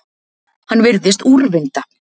Hann virðist úrvinda.